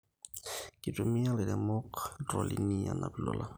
Kitumia ilairemok iltroli anap lolan